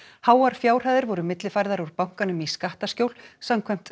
háar fjárhæðir voru millifærðar úr bankanum í skattaskjól samkvæmt